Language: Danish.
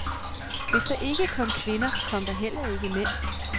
Hvis der ikke kom kvinder, kom der heller ikke mænd.